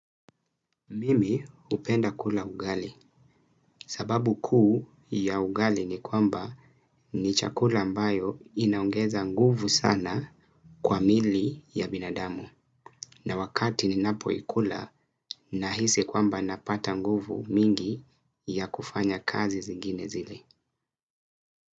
Mimi hupenda kula ugali sababu kuu ya ugali ni kwamba ni chakula ambayo inaongeza nguvu sana kwa mili ya binadamu na wakati ninapoikula nahisi kwamba napata nguvu mingi ya kufanya kazi zingine zile.